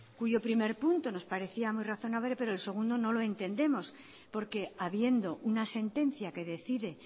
cuyo primer punto nos parecía muy razonable pero el segundo no lo entendemos porque habiendo una sentencia que decide